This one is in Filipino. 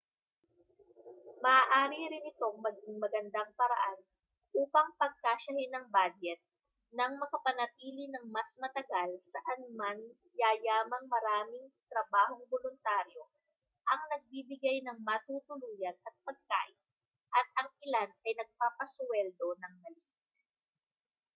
maaari rin itong maging magandang paraan upang pagkasyahin ang badyet nang makapanatili nang mas matagal saanman yayamang maraming trabahong boluntaryo ang nagbibigay ng matutuluyan at pagkain at ang ilan ay nagpapasuweldo nang maliit